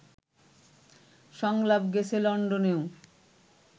সংলাপ গেছে লন্ডনেও